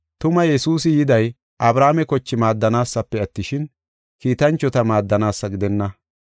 Tuma Yesuusi yiday Abrahaame koche maaddanaasafe attishin, kiitanchota maaddanaasa gidenna.